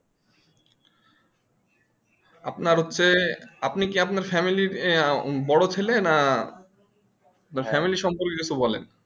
আপনার হচ্ছে আপনি কি আপনার family এর বড় ছেলে না family সম্পর্কে কিন্তু বলেন